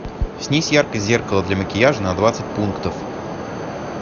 снизь яркость зеркала для макияжа на двадцать пунктов